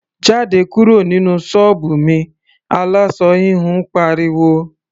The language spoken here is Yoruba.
"Jáde kúrò nínú ṣọ́ọ̀bù mi!", aláṣọ híhun pariwo.